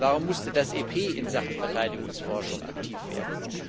Warum musste das EP in Sachen Verteidigungsforschung aktiv werden?